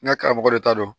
N ka karamɔgɔ de ta don